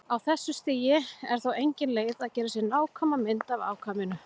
Á þessu stigi er þó engin leið að gera sér nákvæma mynd af afkvæminu.